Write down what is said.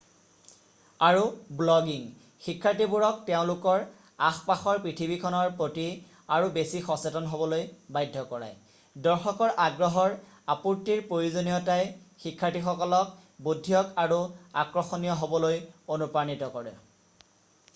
আৰু ব্লগিং শিক্ষাৰ্থী বোৰক তেওঁলোকৰ আশ-পাশৰ পৃথিৱীখনৰ প্ৰতি আৰু বেছি সচেতন হ'বলৈ বাধ্য কৰায়”। দৰ্শকৰ আগ্ৰহৰ আপুৰ্তিৰ প্ৰয়োজনীয়তাই শিক্ষাৰ্থীসকলক বুধিয়ক আৰু আকৰ্ষণীয় হ'বলৈ অনুপ্ৰাণিত কৰে টোটো,2004।